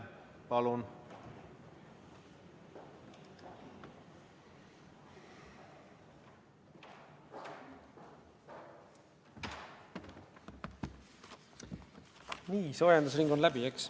Palun!